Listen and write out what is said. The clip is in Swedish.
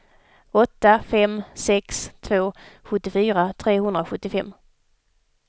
åtta fem sex två sjuttiofyra trehundrasjuttiofem